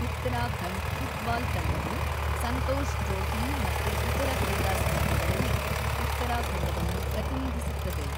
Uttarakhand football ತಂಡವು Santosh trophy ಮತ್ತು ಇತರ ಕ್ರೀಡಾಸ್ಪರ್ಧೆಗಳಲ್ಲಿ ಉತ್ತರಾಖಂಡವನ್ನು ಪ್ರತಿನಿಧಿಸುತ್ತದೆ.